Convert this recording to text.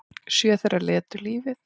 Sjö þeirra létu lífið